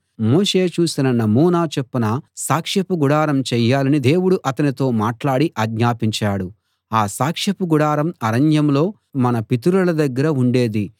మోషే చూసిన నమూనా చొప్పున సాక్షపు గుడారం చేయాలని దేవుడు అతనితో మాట్లాడి ఆజ్ఞాపించాడు ఆ సాక్షపు గుడారం అరణ్యంలో మన పితరుల దగ్గర ఉండేది